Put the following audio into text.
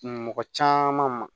Mɔgɔ caman ma